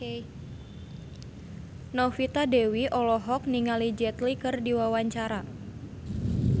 Novita Dewi olohok ningali Jet Li keur diwawancara